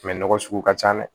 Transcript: nɔgɔ sugu ka can dɛ